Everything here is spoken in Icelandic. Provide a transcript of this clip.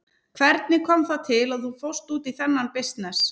Hvernig kom það til að þú fórst út í þennan bisness?